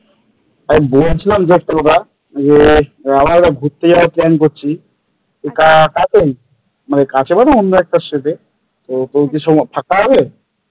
আমি বলেছিলাম যে একটা কথা যে আমরা একটা ঘুরতে যাওয়ার plan করছি কাছেই কাছে মানে অন্য একটা state তো তোর কি ফাঁকা হবে?